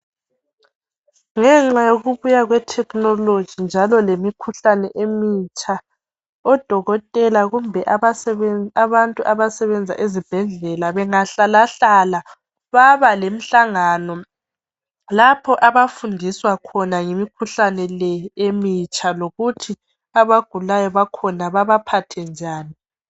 Ngenxa yokubuya kwe technology njalo lemikhuhlane emitsha odokotela kumbe abantu abasebenza ezibhedlela bengahlalahlala baba lemhlangano lapho abafundiswa khona ngemikhuhlane leyi emitsha lokuthi abagulayo bakhona bebaphathe njani.